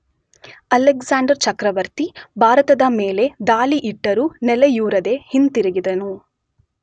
Alexander ಚಕ್ರವರ್ತಿ ಭಾರತದ ಮೇಲೆ ದಾಳಿಯಿಟ್ಟರೂ ನೆಲೆಯೂರದೆ ಹಿಂತಿರುಗಿದನು.